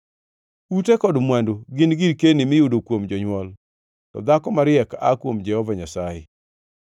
Ute kod mwandu gin girkeni miyudo kuom jonywol, to dhako mariek aa kuom Jehova Nyasaye.